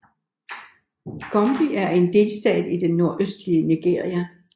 Gombe er en delstat i det nordøstlige Nigeria